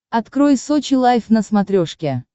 открой сочи лайф на смотрешке